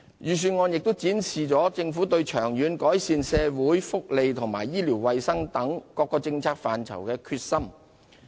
預算案亦展示政府對長遠改善社會福利及醫療衞生等政策範疇的決心。